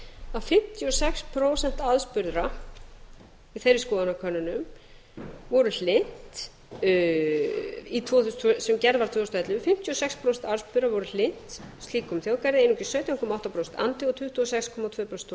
að fimmtíu og sex prósent aðspurðra í fyrri skoðanakönnunum voru hlynnt sem gerð var tvö þúsund og ellefu fimmtíu og sex prósent aðspurðra voru hlynnt slíkum þjóðgarði einungis sautján komma átta prósent andvíg og tuttugu og sex komma tvö prósent